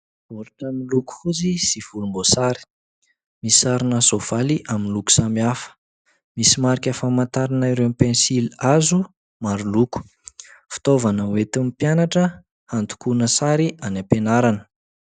Baoritra miloko fotsy sy volomboasary, misy sarina soavaly amin'nyloko samihafa. Misy marika famantarana ireo pensilihazo maro loko. Fitaovana hoentin'ny mpianatra handokoana sary any am-pianarana.